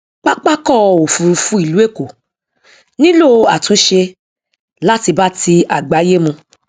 pápákọ òfurufú ìlú èkó nílò àtúnṣe láti bá ti àgbáyé mu